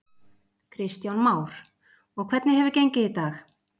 Kristján Már: Og hvernig hefur gengið í dag?